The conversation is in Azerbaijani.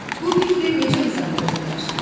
Bu fikri necə izah edə bilərsiz?